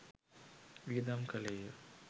වියදම් කළේ ය.